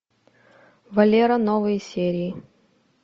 валера новые серии